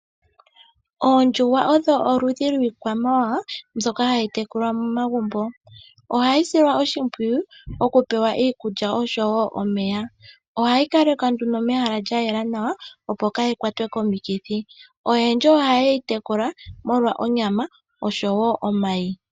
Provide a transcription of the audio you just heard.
Oondjuhwa odho oludhi lwikwamawawa mbyoka hayi tekulwa megumbo. Ohayi silwa oshimwiyu okupewa iikulya oshowo omeya. Ohayi kalekwa nduno mehala lyayela nawa opo kayi kwatwe komikithi. Oyendji ohaye yi tekula molwa onyama oshowo omayi.